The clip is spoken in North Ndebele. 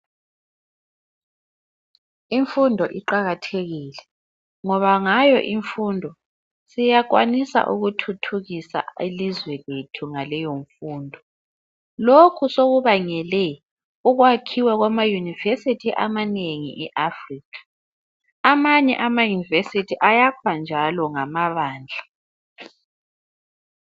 Imfundo iqakathekile ngoba ngayo imfundo siyakwanisa ukuthuthukisa ilizwe lethu ngaleyomfundo. Lokhu sekubangele ukwakhiwa kwamayunivesithi amanengi e-Africa. Amanye amayunivesithi ayakhwa njalo ngamabandla.